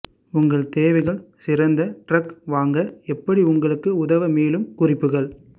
உங்கள் தேவைகள் சிறந்த டிரக் வாங்க எப்படி உங்களுக்கு உதவ மேலும் குறிப்புகள்